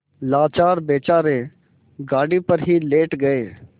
लाचार बेचारे गाड़ी पर ही लेट गये